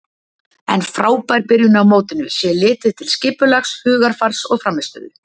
En frábær byrjun á mótinu sé litið til skipulags, hugarfars og frammistöðu.